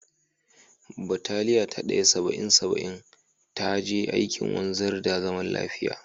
Bataliya ta Daya -Saba'in -Saba'in ta je aikin wanzar da zaman lafiya.